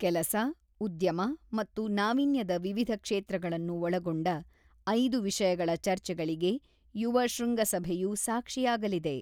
ಕೆಲಸ, ಉದ್ಯಮ ಮತ್ತು ನಾವೀನ್ಯದ ವಿವಿಧ ಕ್ಷೇತ್ರಗಳನ್ನು ಒಳಗೊಂಡ ಐದು ವಿಷಯಗಳ ಚರ್ಚೆಗಳಿಗೆ ಯುವ ಶೃಂಗಸಭೆಯು ಸಾಕ್ಷಿಯಾಗಲಿದೆ .